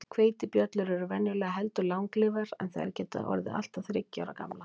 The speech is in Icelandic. Hveitibjöllur eru venjulega heldur langlífar, en þær geta orðið allt að þriggja ára gamlar.